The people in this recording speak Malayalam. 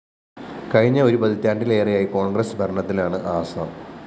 കഴിഞ്ഞ ഒരു പതിറ്റാണ്ടിലേറെയായി കോണ്‍ഗ്രസ് ഭരണത്തിലാണ് ആസാം